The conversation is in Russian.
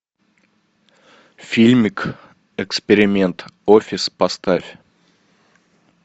фильмик эксперимент офис поставь